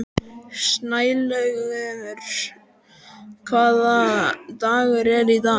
Snælaugur, hvaða dagur er í dag?